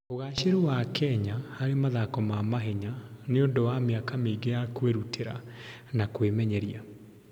Ũgaacĩru wa Kenya harĩ mathako ma mahenya nĩ ũndũ wa mĩaka mĩingĩ ya kwĩrutĩra na kũmenyeria.